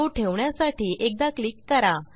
तो ठेवण्यासाठी एकदा क्लिक करा